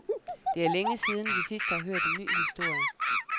Det er længe siden, vi sidst har hørt en ny historie.